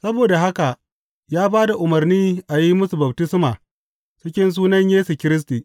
Saboda haka ya ba da umarni a yi musu baftisma cikin sunan Yesu Kiristi.